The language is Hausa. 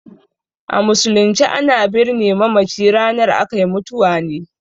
A musulunce a na birne mamaci ranar akai mutuwa ne